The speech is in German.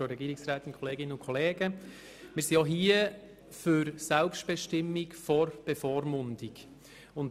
Auch hier ziehen wir die Selbstbestimmung der Bevormundung vor.